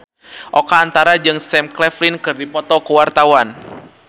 Oka Antara jeung Sam Claflin keur dipoto ku wartawan